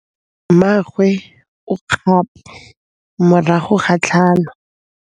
Mmagwe o kgapô morago ga tlhalô.